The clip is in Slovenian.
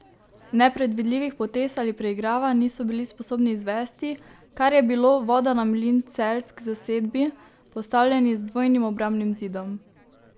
Nepredvidljivih potez ali preigravanj niso bili sposobni izvesti, kar je bilo voda na mlin celjski zasedbi, postavljeni z dvojnim obrambnim zidom.